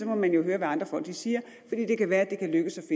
må man jo høre hvad andre folk siger fordi det kan være at det kan lykkes